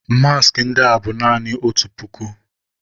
Maaskị ndị a bụ naanị otu puku.